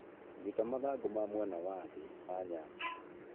rũta mathangũ ma mwena wa thĩ ma nyanya